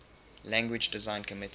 language design committee